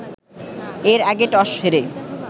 এর আগে টস হেরে